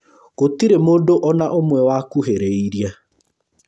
Gũtirĩ mũndũ ona ũmwe wakuhĩrĩirie